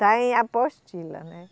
Está em apostila, né?